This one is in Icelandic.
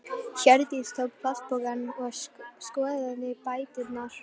Hjördís tók plastpokann og skoðaði bæturnar.